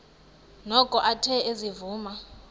noko athe ezivuma